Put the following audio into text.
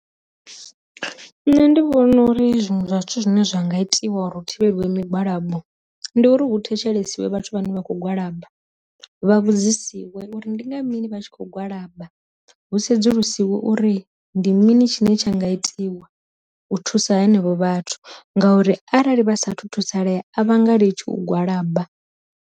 Nṋe ndi vhona uri zwiṅwe zwa zwithu zwine zwa nga itiwa u ri hu thivhelwe migwalabo, ndi uri hu thetshelesiwe vhathu vhane vha kho gwalaba vha vhudzisiwe uri ndi nga mini vha tshi kho gwalaba, hu sedzulusiwa uri ndi mini tshine tsha nga itiwa u thusa henevho vhathu ngauri arali vha sathu thusalea a vhanga litshi u gwalaba.